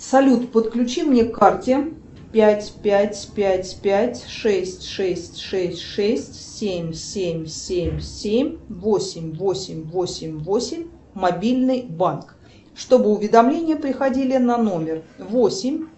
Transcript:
салют подключи мне к карте пять пять пять пять шесть шесть шесть шесть семь семь семь семь восемь восемь восемь восемь мобильный банк чтобы уведомления приходили на номер восемь